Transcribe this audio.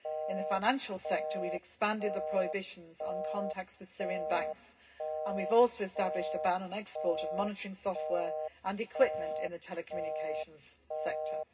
In the financial sector, we have expanded the prohibitions on contacts with Syrian banks and we have also established a ban on the export of monitoring software and equipment in the telecommunications sector.